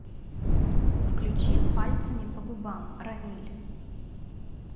включи пальцами по губам рамиль